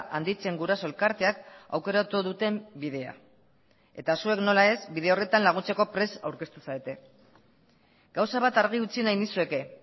handitzen guraso elkarteak aukeratu duten bidea eta zuek nola ez bide horretan laguntzeko prest aurkeztu zarete gauza bat argi utzi nahi nizueke